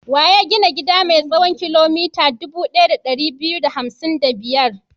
Wa ya gina gida mai tsawon kilomita dubu ɗaya da ɗari biyu da hamsin da biyar?